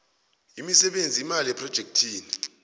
imisebenzi imali yephrojekhthi